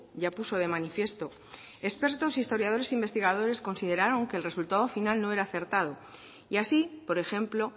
ya puso de manifiesto expertos historiadores e investigadores consideraron que el resultado final no era acertado y así por ejemplo